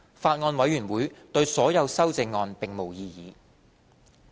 法案委員會對所有修正案並無異議。